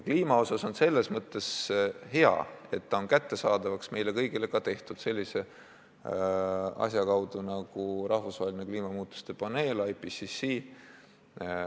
Kliima puhul on selles mõttes hea, et need andmed on meile kõigile kättesaadavaks tehtud sellise asja kaudu nagu rahvusvaheline kliimamuutuste paneel IPCC.